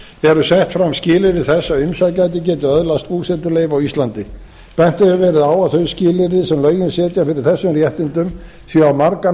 eru sett fram skilyrði þess að umsækjandi geti öðlast búsetuleyfi á íslandi bent hefur verið á að þau skilyrði sem lögin setja fyrir þessum réttindum séu á margan